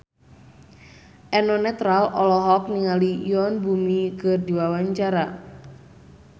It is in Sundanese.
Eno Netral olohok ningali Yoon Bomi keur diwawancara